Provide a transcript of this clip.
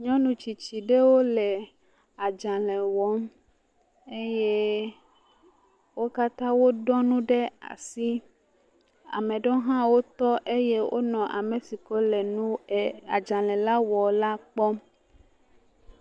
nyɔnu tsitsi ɖewo le adzalɛ wɔm eye wo katã woɖɔ nu ɖe asi, ame ɖewo hã wotɔ eye wole ame si ke le adzalɛ la wɔm la kpɔm.